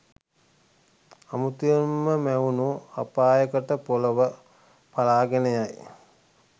අමුතුවෙන්ම මැවුණු අපායකට පොළව පළාගෙන යයි.